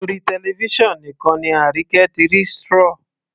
Orí television nìkan ni Arike ti rí strawy